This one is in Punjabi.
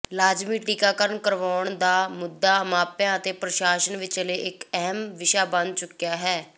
ਲਾਜ਼ਮੀ ਟੀਕਾਕਰਣ ਕਰਵਾਉਣ ਦਾ ਮੁੱਦਾ ਮਾਪਿਆਂ ਅਤੇ ਪ੍ਰਸ਼ਾਸ਼ਨ ਵਿਚਾਲੇ ਇੱਕ ਅਹਿਮ ਵਿਸ਼ਾ ਬਣ ਚੁੱਕਿਆ ਹੈ